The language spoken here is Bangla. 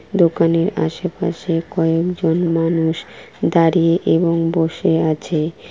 দোকানের আশেপাশে কয়েকজন মানুষ দাঁড়িয়ে এবং বসে আছে ।